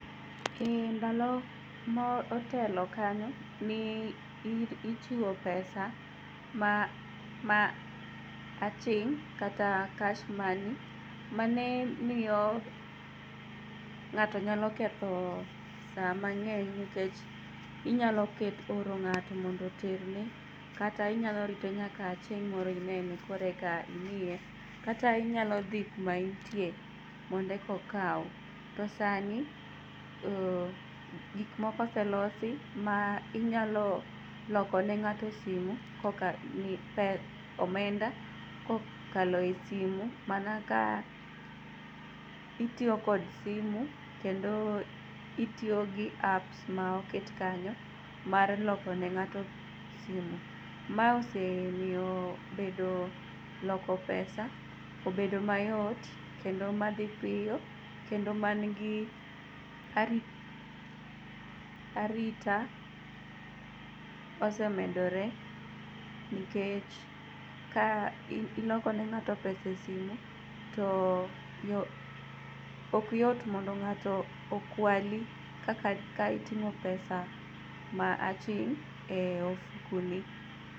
E ndalo mootelo kanyo niichiwo pesa ma aching' kata cash money mane miyo ng'ato nyalo ketho saa mang'eny nikech inyalooro ng'ato mondo oterni kata inyalorite nyaka chieng' moro inene koreka imiye kata inyalodhi kumaentie mond ekokau .To sani gikmoko oselosi ma inyalo lokone ng'ato omenda kokalo e simu mana kaka itiyo kod simu kendo itiyogi apps ma oket kanyo mar lokone ng'ato simu. Ma osemio bedo, loko pesa obedo mayot kendo madhi piyo kendo mangi ari arita oosemedore nikech ka iloko ne ng'ato pesa e simu to okyot mondo ng'ato okwali kaka ka iting'o pesa ma aching' e ofukoni.